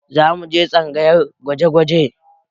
Za mu je tsangayar gwaje-gwaje